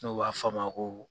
N'o b'a fɔ a ma ko.